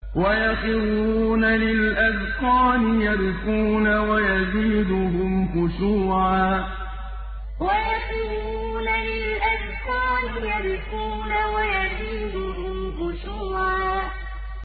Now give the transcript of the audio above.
وَيَخِرُّونَ لِلْأَذْقَانِ يَبْكُونَ وَيَزِيدُهُمْ خُشُوعًا ۩ وَيَخِرُّونَ لِلْأَذْقَانِ يَبْكُونَ وَيَزِيدُهُمْ خُشُوعًا ۩